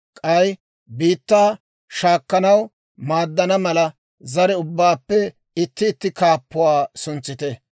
K'ay biittaa shaakkanaw maaddana mala, zare ubbaappe itti itti kaappuwaa suntsite.